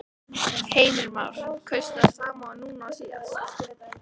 Heimir Már: Kaustu það sama núna og síðast?